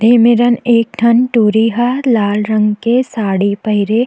ए मेरन एक ठन टुरी हा लाल रंग के साड़ी पहिरे--